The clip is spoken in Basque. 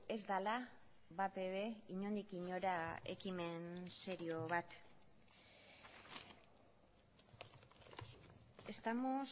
ez dela batere inondik inora ekimen serio bat estamos